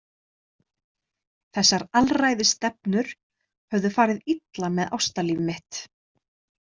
Þessar alræðisstefnur höfðu farið illa með ástalíf mitt.